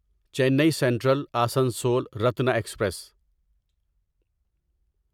چینی Central Asansol Ratna express